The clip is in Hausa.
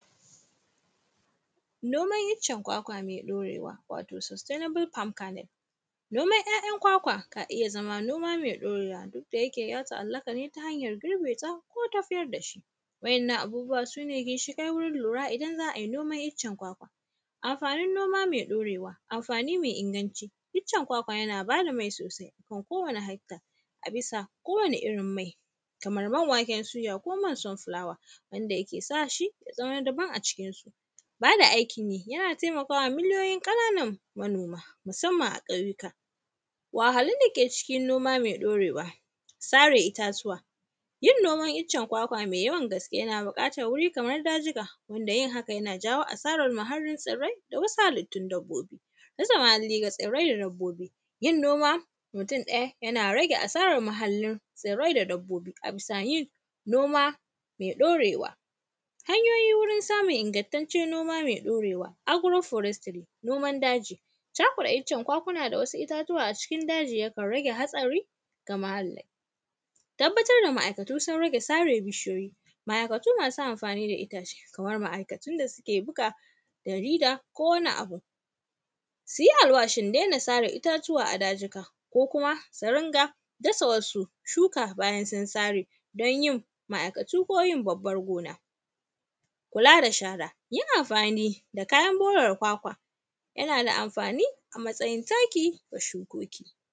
Noman iccen kwakwa me ɗorewa, wato “sustainable palm canel”. Noman ‘ya’yan kwakwa na iya zama noma me ɗorewa, duk da yake ya ta’allaka ne ta hanyar girbe ta, ko tafiyar da shi. Wa’yanna abubuwa su ne ginshiƙai wurin lura idan za ai noman iccen kwakwa. Amafanin noma noma me ɗorewa, amfani me inganci, icen kwakwa yana ba da mai sosai ga kowane halitta, bisa kowane irin mai, kamar man waken suya ko man samfulawa, wanda yake sa shi, ya zama na daban a cikinsu. Ba da aikin yi, yana temaka wa miliyoyin ƙananan manoma, musamman a ƙauyuka. Wahahhalun da ke cikin noma me ɗorewa, sare itatuwa, yin noman icen kwakwa me yawan gaske, yana buƙatar wiri kamar dajika, wanda yin haka yana jawo asarar muhallin tsirrai da wasu halittun dabbobi. Rasa muhalli ga tsirrai da dabbobi, yin noma mutun ɗaya, yana rage asaran muhallin tsirrai da dabbobi a bisa yin noma me ɗorewa. Hanyoyi wurin samun ingantaccen noma me ɗorewa, “agro-forestery”, noman daji, cakuɗa iccen kwakwuna da wasu itatuwa a cikin daji, yakan rage hatsari ga muhalli. Tabbatar da ma’aikatu sun rage sare bishiyoyi, ma’aikatu masu amfani da itace, kamar ma’aikatun da sike buga jarida ko wani abu. Si yi alwashin dena sare itatuwa a dajika ko kuma, su ringa dasa wasu shuka bayan sun sare. Don yin ma’aikatu ko yin babbar gona. Kula da shara, yin amfani da kayan borare kwakwa, yana da amfani a matsayin taki wa shukoki.